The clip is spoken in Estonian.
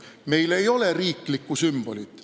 Meil ei ole riiklikku sümbolit.